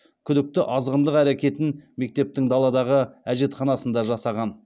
күдікті азғындық әрекетін мектептің даладағы әжетханасында жасаған